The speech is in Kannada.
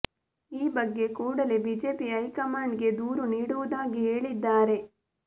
ಈ ಬಗ್ಗೆ ಕೂಡಲೇ ಬಿಜೆಪಿ ಹೈಕಮಾಂಡ್ ಗೆ ದೂರು ನೀಡುವುದಾಗಿ ಹೇಳಿದ್ದಾರೆ